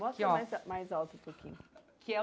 Aqui ó Mostra mais mais alto um pouquinho.